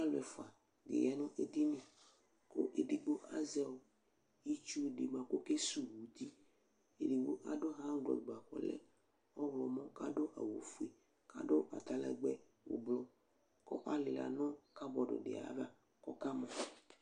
Alʋ ɛfʋa dɩ ya nʋ edini kʋ edigbo azɛ ɔ itsu dɩ bʋa kʋ ɔkesuwu uti Edigbo adʋ ɣaŋglɔf bʋa kʋ ɔlɛ ɔɣlɔmɔ kʋ adʋ awʋfue, adʋ atalɛgbɛ ʋblʋ kʋ alɩla nʋ kabɔd dɩ ayava kʋ ɔkamɔ